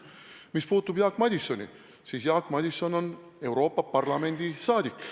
Mis puutub Jaak Madisoni, siis Jaak Madison on Euroopa Parlamendi liige.